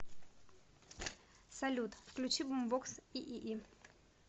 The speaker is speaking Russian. салют включи бумбокс иии